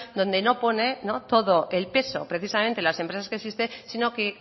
donde no pone todo el peso precisamente en las empresas que existen sino que